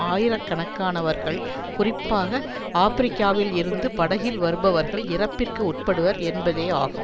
ஆயிர கணக்கானவர்கள் குறிப்பாக ஆபிரிக்காவில் இருந்து படகில் வருபவர்கள் இறப்பிற்கு உட்படுவர் என்பதே ஆகும்